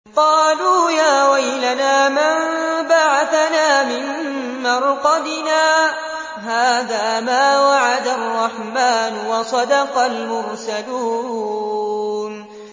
قَالُوا يَا وَيْلَنَا مَن بَعَثَنَا مِن مَّرْقَدِنَا ۜۗ هَٰذَا مَا وَعَدَ الرَّحْمَٰنُ وَصَدَقَ الْمُرْسَلُونَ